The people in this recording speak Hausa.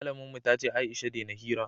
malamin mu ta ce Aisha dena hira